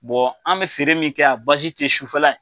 Bɔn an be feere min kɛ a bazi te sufɛla